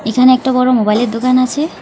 এখানে একটা বড় মোবাইলের দোকান আসে।